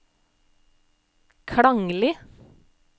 klanglig